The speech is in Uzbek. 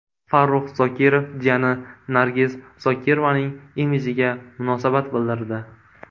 Farrux Zokirov jiyani Nargiz Zokirovaning imidjiga munosabat bildirdi.